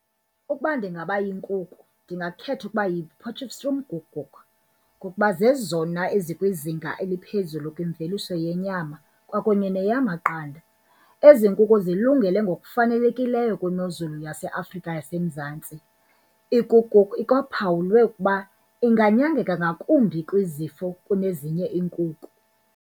Ukuba ndingaba yinkuku ndingakhetha ukuba yiPotchefstroom Koekoek, ngokuba zezona ezikwizinga eliphezulu kwimveliso yenyama kwakunye neyamaqanda. Ezi nkukhu zilungele ngokufanelekileyo kwimozulu yaseAfrika yaseMzantsi. Ikoekoek ikwaphawulwe ukuba inganyangeka ngakumbi kwizifo kunezinye iinkukhu.